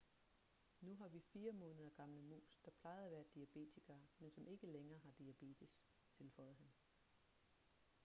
nu har vi 4 måneder gamle mus der plejede at være diabetikere men som ikke længere har diabetes tilføjede han